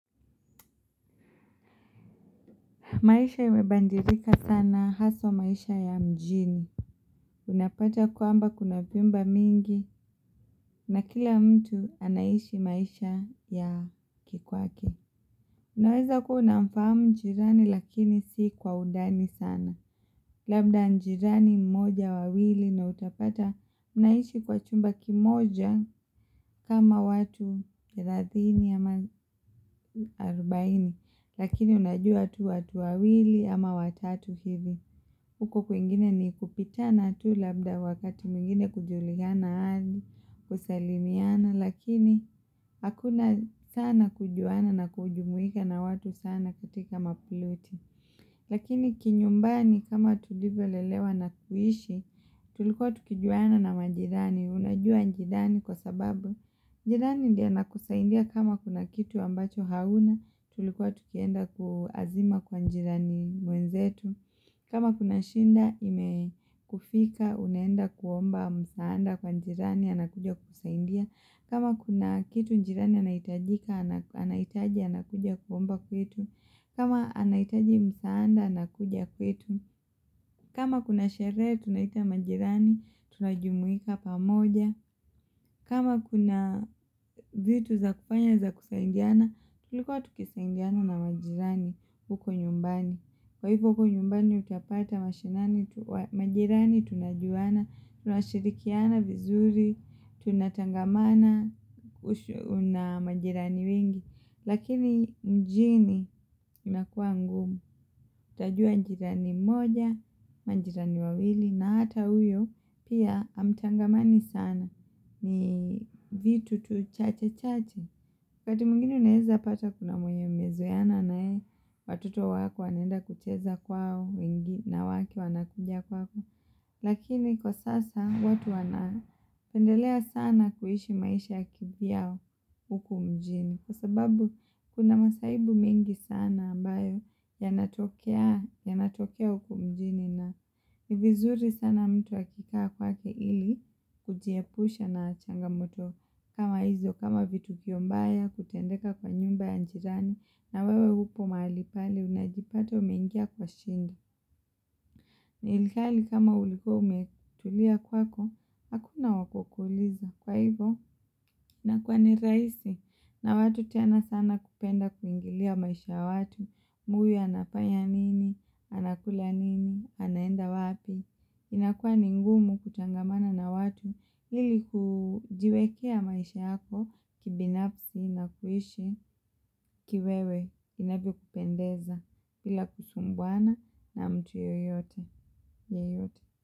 Maisha imebandirika sana haswa maisha ya mjini. Unapata kuamba kuna pimba mingi na kila mtu anaishi maisha ya kikwake. Unaweza kuwa unamfamu njirani lakini si kwa udani sana. Labda njirani mmoja wawili na utapata unaishi kwa chumba kimoja kama watu kira dhini ama 40. Lakini unajua tu watu wawili ama watatu hivi. Huko kuingine ni kupitana tu labda wakati mingine kujuliana hali, kusalimiana, lakini hakuna sana kujuana na kujumwika na watu sana kutika maploti. Lakini kinyumbani kama tulivyolelewa na kuishi, tulikuwa tukijuana na manjirani. Unajua njidani kwa sababu, njidani ndia nakusaindia kama kuna kitu ambacho hauna, tulikuwa tukienda kuazima kwa njidani mwenzetu. Kama kuna shinda inekufika, uneenda kuomba msaanda kwa njirani, anakuja kusaindia kama kuna kitu njirani anaitajika, anaitaji anakuja kuomba kwetu kama anaitaji msaanda, anakuja kwetu kama kuna shere, tunaita majirani, tunajumuika pamoja kama kuna zitu za kufanya za kusaindiana, tulikuwa tukisaindiana na majirani uko nyumbani Kwa hivyo kwa nyumbani utapata majirani tunajuana, tunashirikiana vizuri, tunatangamana na majirani wengi, lakini mjini imakua ngumu, utajua jirani moja, majirani wawili, na hata uyo pia hamtangamani sana, ni vitu tu chache chache. Wakati mungine uneza pata kuna mwenye mezoiana nae, watuto wako wanenda kucheza kwao, na wake wanakudia kwako. Lakini kwa sasa, watu wana tendelea sana kuishi maisha ya kibia huku mjini. Kwa sababu, kuna masahibu mingi sana ambayo ya natokea uku mjini. Na hivizuri sana mtu akikaa kwake ili kujiepusha na changamoto kama hizo kama vitu kiyombaya kutendeka kwa nyumba ya njirani na wewe upo malipale unajipata umengia kwa shinda. Nilikali kama uliku umetulia kwako, hakuna wakukuliza. Kwa hivyo, nakuwa ni raisi na watu tiana sana kupenda kuingilia maisha watu. Huyo anafaya nini, anakula nini, anaenda watu. Inakua ningumu kuchangamana na watu hili kujiwekea maisha yako kibinafsi na kuishi kiwewe inabio kupendeza ila kusumbwana na mtu yoyote.